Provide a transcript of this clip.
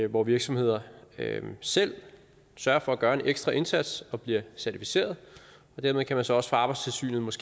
hvor virksomheder selv sørger for at gøre en ekstra indsats og bliver certificeret dermed kan man så fra arbejdstilsynets